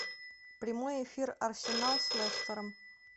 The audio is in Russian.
прямой эфир арсенал с лестером